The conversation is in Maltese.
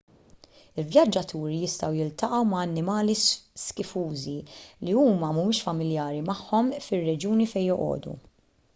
il-vjaġġaturi jistgħu jiltaqgħu ma' annimali skifużi li huma mhumiex familjari magħhom fir-reġjuni fejn joqogħdu